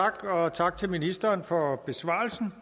tak til ministeren for besvarelsen